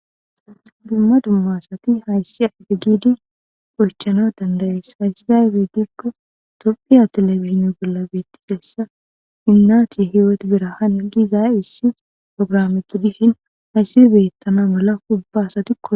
Duma duma asati haysi aaze giidi oychanas danda'ees. Haysi maybe gikon tophiya telebizhinne bolla beetidaysa inati birhan hiwoti gizays xaafeti dishin haysi beetana mala ubba asati koyosona.